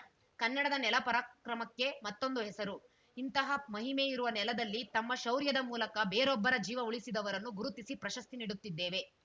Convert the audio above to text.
ಕನ್ನಡದ ನೆಲ ಪರಾಕ್ರಮಕ್ಕೆ ಮತ್ತೊಂದು ಹೆಸರು ಇಂತಹ ಮಹಿಮೆ ಇರುವ ನೆಲದಲ್ಲಿ ತಮ್ಮ ಶೌರ್ಯದ ಮೂಲಕ ಬೇರೊಬ್ಬರ ಜೀವ ಉಳಿಸಿದವರನ್ನು ಗುರುತಿಸಿ ಪ್ರಶಸ್ತಿ ನೀಡುತ್ತಿದ್ದೇವೆ